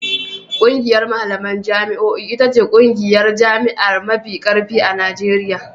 ƙungiyar malaman jami'o'i ita ce ƙungiyar jami'a mafi ƙarfi a Najeriya.